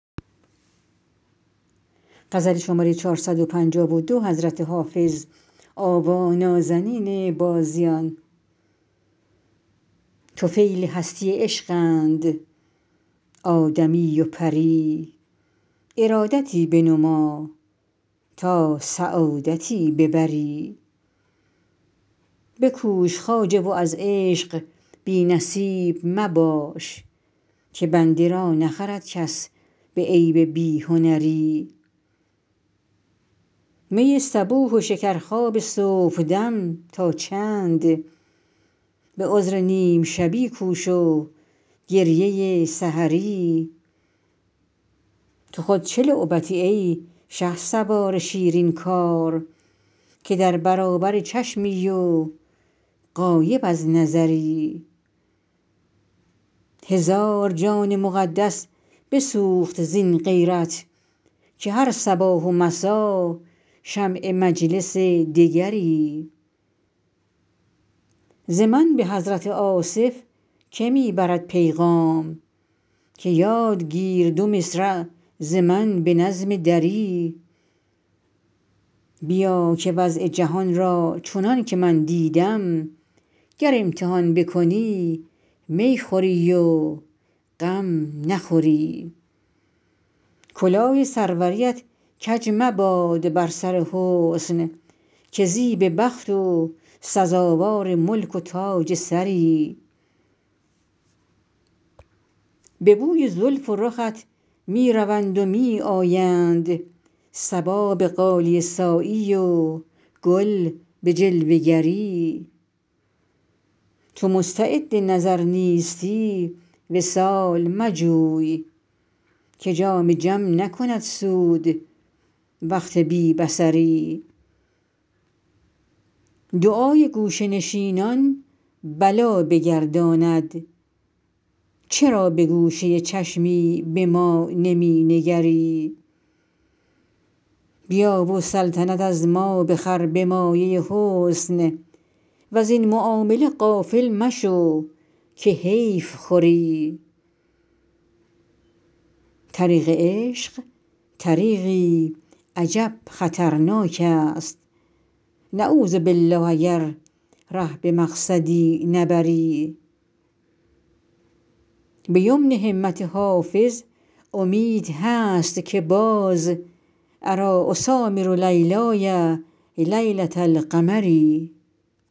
طفیل هستی عشقند آدمی و پری ارادتی بنما تا سعادتی ببری بکوش خواجه و از عشق بی نصیب مباش که بنده را نخرد کس به عیب بی هنری می صبوح و شکرخواب صبحدم تا چند به عذر نیم شبی کوش و گریه سحری تو خود چه لعبتی ای شهسوار شیرین کار که در برابر چشمی و غایب از نظری هزار جان مقدس بسوخت زین غیرت که هر صباح و مسا شمع مجلس دگری ز من به حضرت آصف که می برد پیغام که یاد گیر دو مصرع ز من به نظم دری بیا که وضع جهان را چنان که من دیدم گر امتحان بکنی می خوری و غم نخوری کلاه سروریت کج مباد بر سر حسن که زیب بخت و سزاوار ملک و تاج سری به بوی زلف و رخت می روند و می آیند صبا به غالیه سایی و گل به جلوه گری چو مستعد نظر نیستی وصال مجوی که جام جم نکند سود وقت بی بصری دعای گوشه نشینان بلا بگرداند چرا به گوشه چشمی به ما نمی نگری بیا و سلطنت از ما بخر به مایه حسن وزین معامله غافل مشو که حیف خوری طریق عشق طریقی عجب خطرناک است نعوذبالله اگر ره به مقصدی نبری به یمن همت حافظ امید هست که باز اریٰ اسامر لیلای لیلة القمری